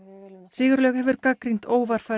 Sigurlaug hefur gagnrýnt